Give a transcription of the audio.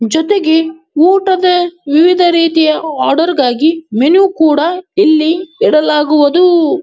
ಜೊತೆಗೆ ಊಟದ ವಿವಿಧ ರೀತಿಯ ಆರ್ಡರ್ ಗಾಗಿ ಮೆನು ಕೂಡ ಇಲ್ಲಿ ಇಡಲಾಗುವುವದು.